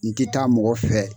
N tɛ taa mɔgɔ fɛ.